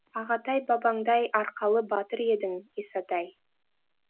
ағатай бабаңдай арқалы батыр едің исатай